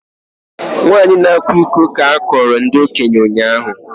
Nwanyị a na-akwa iko ka a kọọrọ ndị okenye ụnyahụ